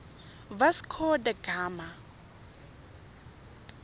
vasco da gama